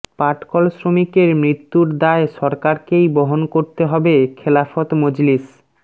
পাটকল শ্রমিকের মৃত্যুর দায় সরকারকেই বহন করতে হবে খেলাফত মজলিস